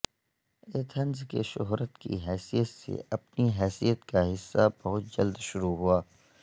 Athens کے شہرت کی حیثیت سے اپنی حیثیت کا حصہ بہت جلد شروع ہوا